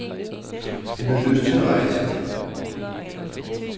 Han havde lyst til at rejse.